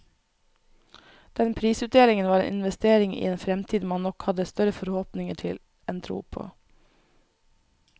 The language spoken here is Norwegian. Den prisutdelingen var en investering i en fremtid man nok hadde større forhåpninger til enn tro på.